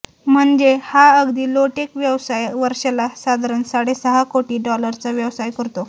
म्हणजे हा अगदी लो टेक व्यवसाय वर्षाला साधारण साडेसहा कोटी डॉलर्सचा व्यवसाय करतो